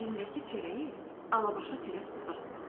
Əlindəki çörəyi Alabaşa tərəf uzatdı.